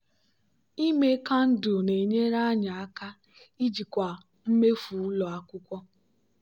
ime kandụl na-enyere anyị aka ijikwa mmefu ụlọ akwụkwọ.